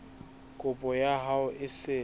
kopo ya hao e se